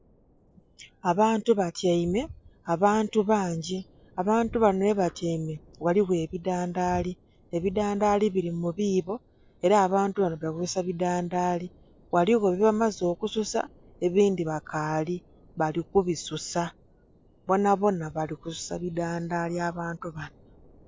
Abantu batyaime, abantu bangi, abantu bano ghebatyaime ghaligho ebidandaali, ebidandaali bili mu biibo, era abantu bali kulongosa bidandaali. Ghaligho byebamaze okususa, ebindhi bakaali, bali kubisusa. Bonabona bali kususa bidandaali abantu bano.